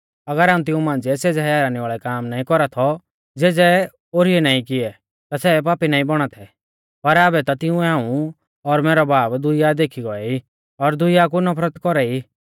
अगर हाऊं तिऊं मांझ़िऐ सेज़ै हैरानी वाल़ै काम नाईं कौरा थौ ज़ेज़ै कोई ओरी ऐ नाईं किऐ ता सै पापी नाईं बौणा थै पर आबै ता तिंउऐ हाऊं और मैरौ बाबा दुइया देखी गौऐ ई और दुइया कु नफरत कौरा ई